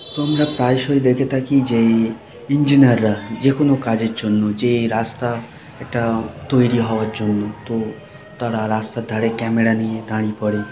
তোমরা প্রায়ই দেখে থাকি যে ইঞ্জিনিয়াররা যেকোনো কাজের জন্য যে রাস্তা এটা তৈরী হওয়ার জন্য তো--- তারা রাস্তার ধারে ক্যামেরা নিয়ে দাঁড়িয়ে পড়ে।